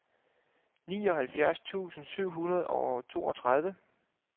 nioghalvtreds tusind syv hundrede og toogtredive